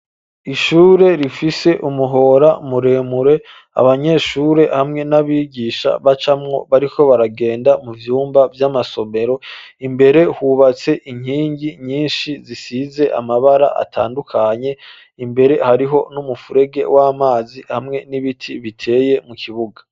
Ishure rifise umuhora muremure abanyeshure hamwe n'abigisha bacamwo bariko baragenda mu vyumba vy'amasomero. Imbere hubatse inkingi nyinshi zisize amabara atandukanye. Imbere hariho n'umufurege w'amazi hamwe n'ibiti biteye mu kibuga.